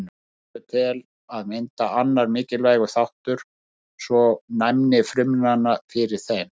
Hormón eru til að mynda annar mikilvægur þáttur svo og næmni frumna fyrir þeim.